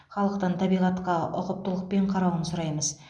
халықтан табиғатқа ұқыптылықпен қарауын сұраймыз